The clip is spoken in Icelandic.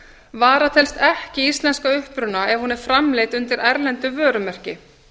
vara telst ekki íslensk að uppruna ef hún er framleidd undir erlendu vörumerki